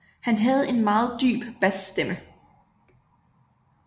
Han havde en meget dyb basstemme